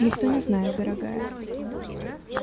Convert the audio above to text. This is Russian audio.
никто не знает дорогая